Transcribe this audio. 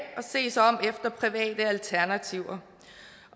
se sig om efter private alternativer